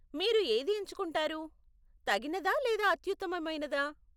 మీరు ఏది ఎంచుకుంటారు, తగినదా లేదా అత్యుత్తమమైనదా?